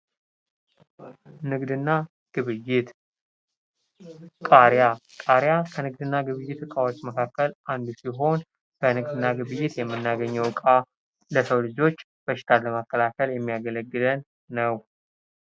ንግድ እና ግብይት ። ቃሪያ ፡ ቃሪያ ከንግድ እና ግብይት እቃዎች መካከል አንዱ ሲሆን በንግድ እና ግብይት የምናገኝው እቃ ለሰው ልጆች በሽታን ለመከላከል የሚያገለግለን ነው ።